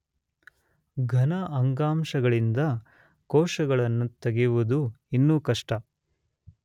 ಘನ ಅಂಗಾಂಶಗಳಿಂದ ಕೋಶಗಳನ್ನು ತೆಗೆಯುವುದು ಇನ್ನೂ ಕಷ್ಟ.